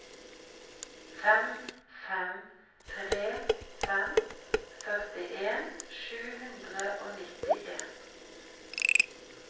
fem fem tre fem førtien sju hundre og nittien